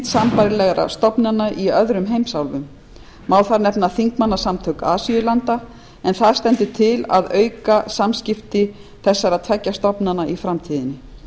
sambærilegra stofnanna í öðrum heimsálfum má þar nefna þingmannasamtök asíulanda en það stendur til að auka samskipti þessara tveggja stofnana í framtíðinni